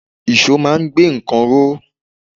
Ìṣó máa ń gbé nǹkan ró.